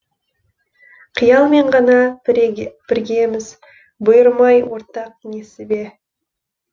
қиялмен ғана біргеміз бұйырмай ортақ несібе